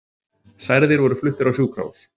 Særðir voru fluttir á sjúkrahús